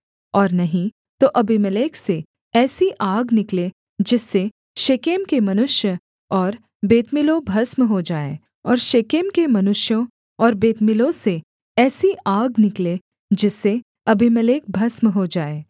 और नहीं तो अबीमेलेक से ऐसी आग निकले जिससे शेकेम के मनुष्य और बेतमिल्लो भस्म हो जाएँ और शेकेम के मनुष्यों और बेतमिल्लो से ऐसी आग निकले जिससे अबीमेलेक भस्म हो जाए